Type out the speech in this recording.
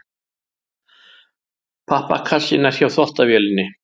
Pappakassinn er hjá þvottavélinni.